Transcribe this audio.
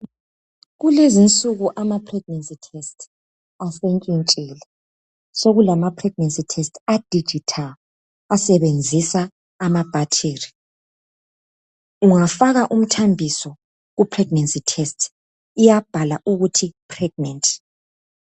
Kulezinsuku ama pregnancy test asentshintshile sokulama pregnancy test a digital asebenzisa amabhathiri. Ungafaka umthambiso ku pregnant test iyabhala ukuthi pregnant